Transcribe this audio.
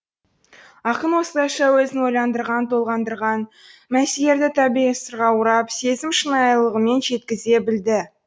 ақын осылайша өзін ойландырған толғандырған мәселелерді табиғи сырға орап сезім шынайылығымен жеткізе білді